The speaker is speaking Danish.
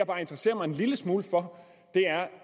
bare interesserer mig en lille smule for er